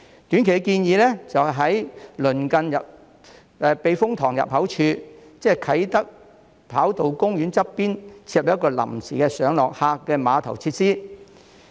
短期建議就是在鄰近避風塘入口處，即啟德跑道公園旁邊設立一個臨時的上落客碼頭設施。